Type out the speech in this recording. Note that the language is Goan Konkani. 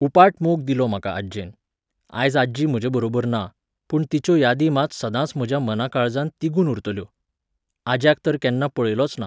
उपाट मोग दिलो म्हाका आज्जेन. आयज आजी म्हजेबरोबर ना, पूण तिच्यो यादी मात सदांच म्हज्या मनाकाळजांत तिगून उरतल्यो. आज्याक तर केन्ना पळयलोच ना.